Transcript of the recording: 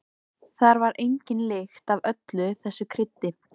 Það var engin lykt af öllu þessu kryddi.